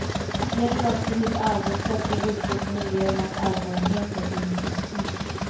Det gäller också att hitta arbetssätt som utgår från elevernas erfarenheter och intressen.